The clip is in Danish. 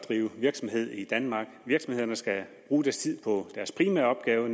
at drive virksomhed i danmark virksomhederne skal bruge tiden på deres primære opgave